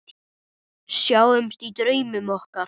Sjáumst í draumum okkar.